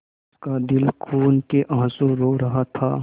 उसका दिल खून केआँसू रो रहा था